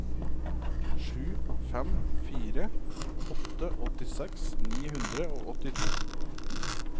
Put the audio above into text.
sju fem fire åtte åttiseks ni hundre og åttito